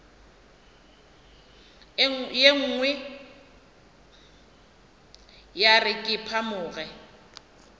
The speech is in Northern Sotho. nngwe ya re ke phamoge